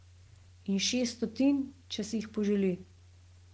In šest stotnij, če si jih poželi.